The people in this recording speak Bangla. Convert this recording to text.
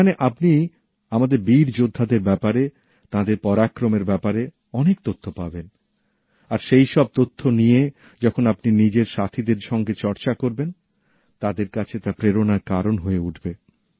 ওখানে আপনি আমাদের বীর যোদ্ধাদের ব্যাপারে তাঁদের পরাক্রমের ব্যাপারে অনেক তথ্য পাবেন আর সেই সব তথ্য নিয়ে যখন আপনি নিজের বন্ধুদের সঙ্গে চর্চা করবেন তাদের কাছে তা প্রেরণার কারণ হয়ে উঠবে